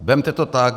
Vezměte to tak.